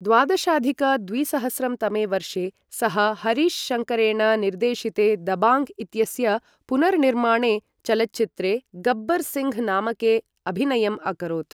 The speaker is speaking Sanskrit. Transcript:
द्वादशाधिक द्विसहस्रं तमे वर्षे सः हरीश् शङ्करेण निर्देशिते दबाङ्ग् इत्यस्य पुनर्निमाणे चलच्चित्रे गब्बर् सिङ्घ् नामके अभिनयम् अकरोत्।